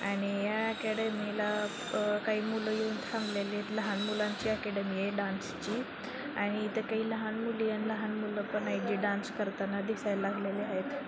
आणि या अकॅडमी ला काही मुलं येऊन थांबलेली आहेत लहान मुलांची ॲकॅडमी ये डान्स ची आणि इथं काही लहान मुली आणि लहान मुलं पण आहेत जे डान्स करताना दिसायला लागलेले आहेत.